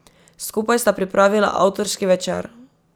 Skupaj sta pripravila avtorski večer.